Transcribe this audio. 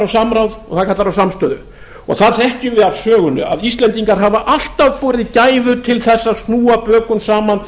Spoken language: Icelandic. samráð og það kallar á samstöðu og það þekkjum við af sögunni að íslendingar hafa alltaf borið gæfu til þess að snúa bökum saman